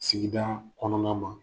Sigidaa kɔnɔna na.